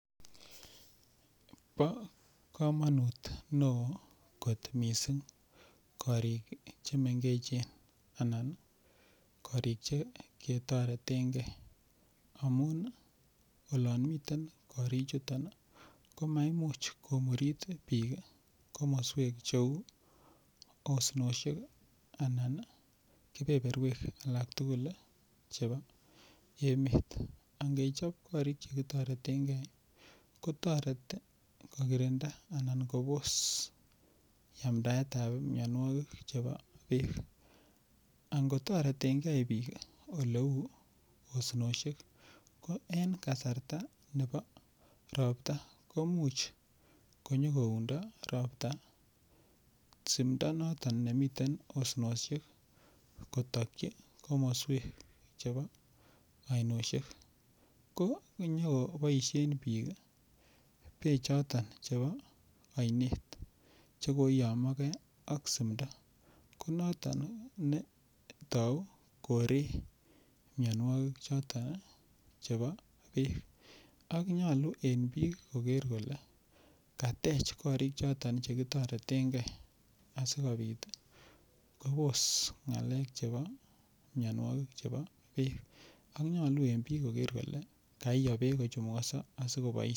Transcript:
Bo komonut neo kot mising korik Che mengech anan korik Che ketoreten ge amun olon miten korichuto ko maimuch komurit bik komoswek cheu osnosiek anan keberberwek alak tugul chebo emet angechob korik Che ki toretengei ko kirinda anan kobos kanamdaet ab mianwogik Chebo bek angotoreten ge bik oleu osnosiek ko en kasarta nebo Ropta komuch konyo koundo Ropta simdo noton nemiten osnosiek kotokyi ainosiek ko angoboisie bik be choton chebo oinet Che koiyomoge ak simdo ko noton netou koree mianwogik chebo bek nyolu en Bik koger kole katech korik choton Che kitoreten ge asikobit kobos ngalekab mianwogik ab Bek ak nyolu en bik koger kole kayoo bek kochumukoso asi koboisien